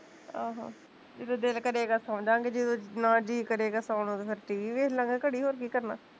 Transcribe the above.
ਆਹੋ, ਜਦੋ ਦਿਲ ਕਰੇਗਾ ਸੋਜਾਂਗੇ, ਜਦੋ ਨਾ ਜੀਅ ਕਰੇਗਾ ਸੋਣ ਨੂੰ ਤੇ ਫਿਰ TV ਵੇਖਲਾਂਗੇ ਘੜੀ ਹੋਰ ਕੀ ਕਰਨਾ